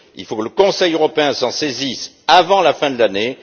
Il faut que le Conseil européen s'en saisisse avant la fin de l'année.